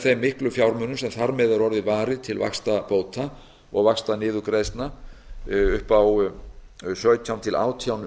þeim miklu fjármunum sem þar með er orðið varið til vaxtabóta og vaxtaniðurgreiðslna upp á sautján til átján